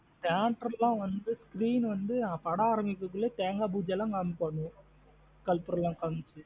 Theatre லாம் வந்து screen வந்து படம் ஆரம்பிக்கறதுக்குல தேங்கா பூஜை எல்லாம் காமிப்பனுங்க கற்பூரம் எல்லாம் காமுச்சு.